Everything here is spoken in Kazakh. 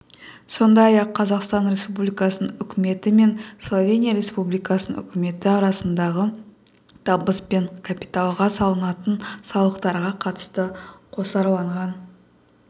сондай-ақ қазақстан республикасының үкіметі мен словения республикасының үкіметі арасындағы табыс пен капиталға салынатын салықтарға қатысты қосарланған